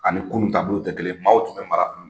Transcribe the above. Ani kunun taabolow tɛ kelen ye. Maaw tun bɛ mara kunun